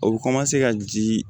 O bɛ ka ji